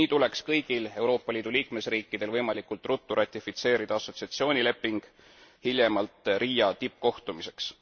Nii tuleks kõigil Euroopa Liidu liikmesriikidel võimalikult ruttu ratifitseerida assotsieerimisleping, hiljemalt Riia tippkohtumiseks.